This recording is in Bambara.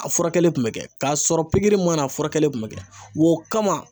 A furakɛli kun bɛ kɛ, k'a sɔrɔ pikiri mana, a furakɛli kun bɛ kɛ, wa o kama